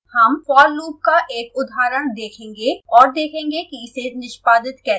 हम for loop का एक उदाहरण देखेंगे और देखेंगे कि इसे निष्पादित कैसे करें